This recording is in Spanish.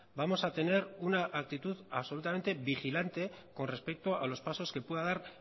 vamos a tener una actitud absolutamente vigilante con respecto a los pasos que pueda dar